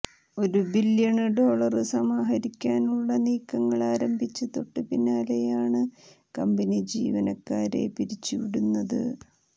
ഒരു billion dollar സമാഹരിക്കാനുള്ള നീക്കങ്ങള് ആരംഭിച്ച് തൊട്ട് പിന്നാലെയാണ് കമ്പനി ജീവനക്കാരെ പിരിച്ചുവിടുന്നത്